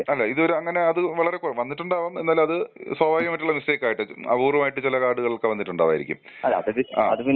അല്ല ഇത് ഒരു അങ്ങനെ അത് വളരെ കോ വന്നിട്ട് ഉണ്ടവാം എന്നാൽ അത് സ്വാഭാവികമായിട്ടുള്ള മിസ്റ്റേക്ക് ആയിരിക്കും. അപൂർവമായിട്ട് ചില കാർഡുകൾക്ക് വന്നിട്ടുണ്ടാവായിരിക്കും. ആ.